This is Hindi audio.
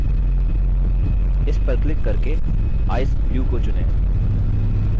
इस पर क्लिक करके ice blue को चुनें